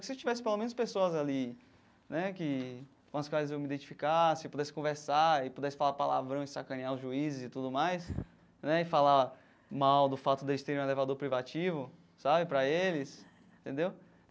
Que se tivesse pelo menos pessoas ali né que com as quais eu me identificasse, pudesse conversar e pudesse falar palavrão e sacanear os juízes e tudo mais né, e falar mal do fato deles terem um elevador privativo, sabe, para eles, entendeu?